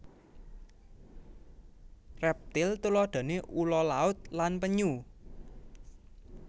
Reptil tuladhane ula laut lan penyu